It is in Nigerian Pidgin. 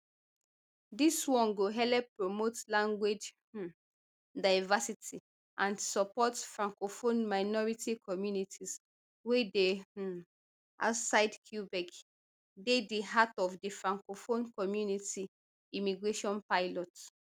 dis one go helep promote language um diversity and support francophone minority communities wey dey um outside quebec dey di heart of di francophone community immigration pilot